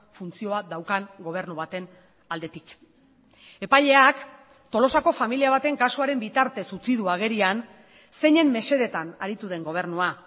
funtzioa daukan gobernu baten aldetik epaileak tolosako familia baten kasuaren bitartez utzi du agerian zeinen mesedetan aritu den gobernua